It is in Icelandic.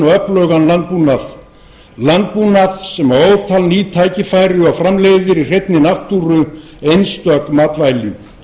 og öflugan landbúnað landbúnað sem ótal ný tækifæri og framleiðir í hreinni náttúru einstök matvæli